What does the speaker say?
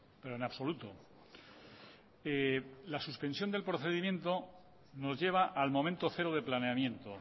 pero en absoluto la suspensión del procedimiento nos lleva al momento cero de planeamiento